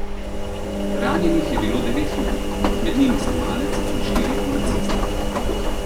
Ranjenih je bilo devet ljudi, med njimi snemalec in štirje policisti.